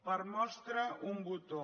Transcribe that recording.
per mostra un botó